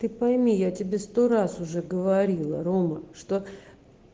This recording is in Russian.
ты пойми я тебе сто раз уже говорила рома что